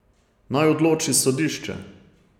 Naj odloči sodišče.